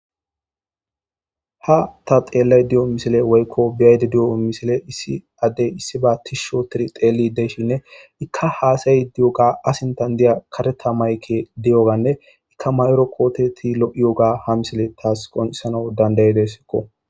Ha taxelayda deyo woy beyayda deyo misiley issi Adey issiba tishi ottidi xelidi de'ishine ka hasaydi deyoga a sinta diyoga kareta mayikeydiyogane mayada diya kotey lo'iyoga ha misiley tas qoncises